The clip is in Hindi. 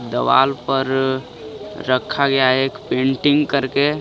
दीवाल पर रखा गया एक पेंटिंग करके।